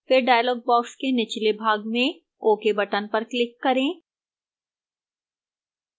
फिर dialog box के निचले भाग में ok button पर click करें